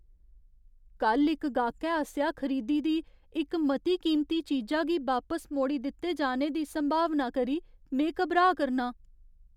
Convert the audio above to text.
कल्ल इक गाह्‌कै आसेआ खरीदी दी इक मती कीमती चीजा गी बापस मोड़ी दित्ते जाने दी संभावना करी में घबराऽ करनां ।